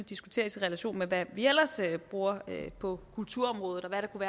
diskuteres i relation til hvad vi ellers bruger på kulturområdet og hvad der kunne